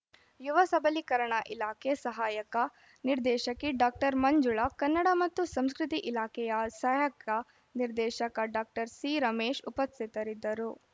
ಯುವ ಸಬಲೀಕರಣ ಇಲಾಖೆ ಸಹಾಯಕ ನಿರ್ದೇಶಕಿ ಡಾಕ್ಟರ್ ಮಂಜುಳ ಕನ್ನಡ ಮತ್ತು ಸಂಸ್ಕೃತಿ ಇಲಾಖೆಯ ಸಹಾಯಕ ನಿರ್ದೇಶಕ ಡಾಕ್ಟರ್ ಸಿರಮೇಶ್‌ ಉಪಸ್ಥಿತರಿದ್ದರು